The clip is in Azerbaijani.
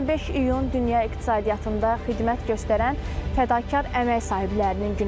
25 iyun dünya iqtisadiyyatında xidmət göstərən fədakar əmək sahiblərinin günüdür.